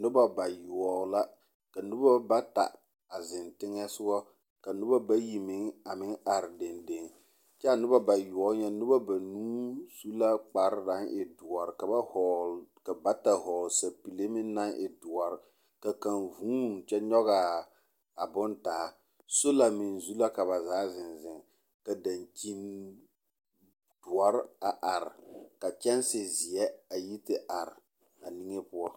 Noba bayoɔbo la. Ka noba bata a zeŋ teŋɛ soga ka noba bayi meŋ ameŋ are dendeŋ, kyɛ a noba bayoɔbo nyɛ noba babuu su la kpare naŋ e doɔre ka ba hɔgele, ka bata hɔgele sapile meŋ naŋ e doɔre, ka kaŋ huuni kyɛ nyɔge a a bone taa. Sola meŋ zu la ka ba zaa zeŋ zeŋ ka daŋkyin doɔre a are, kaa kyɛnse zeɛ a yi te are a niŋe poɔ.